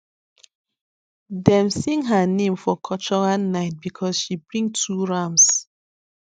dem sing her name for cultural night because she bring two rams